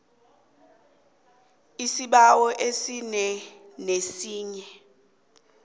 isibawo esinye nesinye